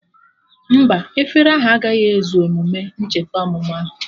Mba, efere ahụ agaghị ezu emume ncheta ọmụmụ ahụ